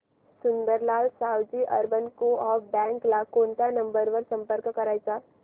Sundarlal Saoji urban coop bank ला कोणत्या number वर संपर्क करायचा